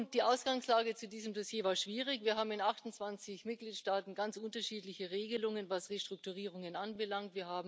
Die Ausgangslage zu diesem Dossier war schwierig Wir haben in 28 Mitgliedstaaten ganz unterschiedliche Regelungen, was Restrukturierungen anbelangt.